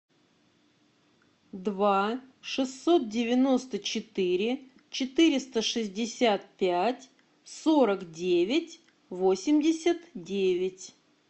два шестьсот девяносто четыре четыреста шестьдесят пять сорок девять восемьдесят девять